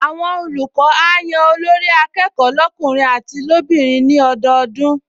Àwọn olùkọ́ á yan Olórí-akẹ́kọ̀ọ́ lọ́kùnrin àti lóbìnrin ní ọdọọdún